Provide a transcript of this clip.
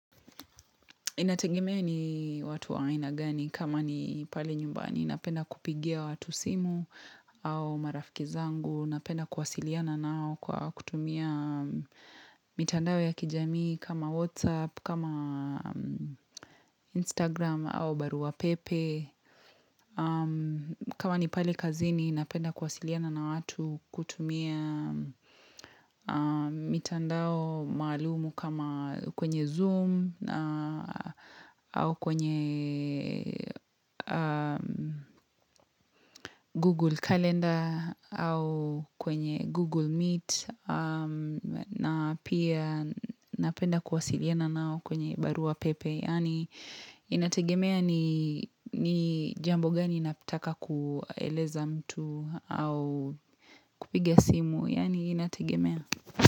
Inategemea ni watu wa aina gani kama ni pale nyumbani. Napenda kupigia watu simu au marafiki zangu. Napenda kuwasiliana nao kwa kutumia mitandao ya kijamii kama Whatsapp, kama Instagram au barua pepe. Kama ni pale kazini napenda kuwasiliana na watu kutumia mitandao maalumu kama kwenye zoom au kwenye google calendar au kwenye google meet na pia napenda kuwasiliana nao kwenye barua pepe Yaani inategemea ni jambo gani nataka kueleza mtu au kupiga simu Yaani inategemea.